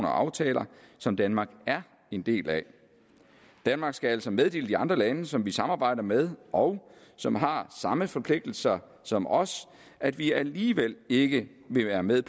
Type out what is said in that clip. og aftaler som danmark er en del af danmark skal altså meddele de andre lande som vi samarbejder med og som har samme forpligtelser som os at vi alligevel ikke vil være med